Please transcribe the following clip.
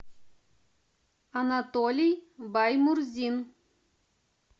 анатолий баймурзин